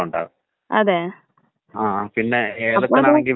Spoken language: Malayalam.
പക്ഷെ അവര് തോൽ സംബ... തോലിനുള്ള ഡോക്ടറെയല്ലേ അവര് കാണിക്കത്തുള്ളൂ.